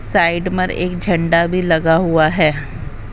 Side में एक झंडा भी लगा हुआ है।